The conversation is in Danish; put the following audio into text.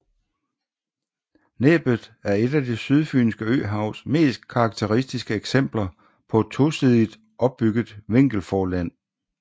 Næbbet er et af det Sydfynske Øhavs mest karakteristiske eksempler på et tosidigt opbygget vinkelforland